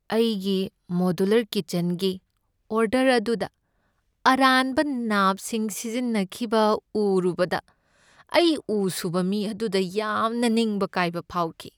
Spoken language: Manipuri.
ꯑꯩꯒꯤ ꯃꯣꯗꯨꯂꯔ ꯀꯤꯠꯆꯟꯒꯤ ꯑꯣꯔꯗꯔ ꯑꯗꯨꯗ ꯑꯔꯥꯟꯕ ꯅꯥꯞꯁꯤꯡ ꯁꯤꯖꯤꯟꯅꯈꯤꯕ ꯎꯔꯨꯕꯗ ꯑꯩ ꯎ ꯁꯨꯕ ꯃꯤ ꯑꯗꯨꯗ ꯌꯥꯝꯅ ꯅꯤꯡꯕ ꯀꯥꯏꯕ ꯐꯥꯎꯈꯤ꯫